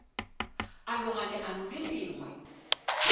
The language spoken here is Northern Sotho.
a loga leano le lengwe